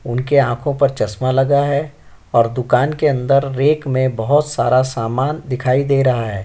उनके आंखों पर चश्मा लगा है और दुकान के अंदर रैक में बहोत सारा सामान दिखाई दे रहा है।